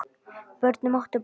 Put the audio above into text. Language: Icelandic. Börnin máttu borga.